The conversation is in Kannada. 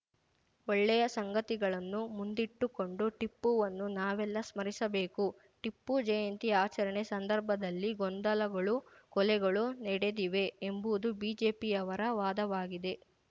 ಒಳ್ಳೆಯ ಸಂಗತಿಗಳನ್ನು ಮುಂದಿಟ್ಟುಕೊಂಡು ಟಿಪ್ಪುವನ್ನು ನಾವೆಲ್ಲಾ ಸ್ಮರಿಸಬೇಕು ಟಿಪ್ಪು ಜಯಂತಿ ಆಚರಣೆ ಸಂದರ್ಭದಲ್ಲಿ ಗೊಂದಲಗಳು ಕೊಲೆಗಳು ನಡೆದಿವೆ ಎಂಬುದು ಬಿಜೆಪಿಯವರ ವಾದವಾಗಿದೆ